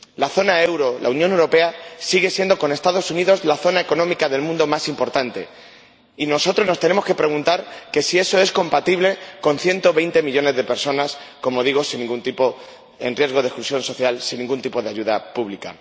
La zona del euro, la Unión Europea, sigue siendo, con los Estados Unidos, la zona económica del mundo más importante, y nosotros nos tenemos que preguntar si eso es compatible con 120 millones de personas, como digo, en riesgo de exclusión social, sin ningún tipo de ayuda pública.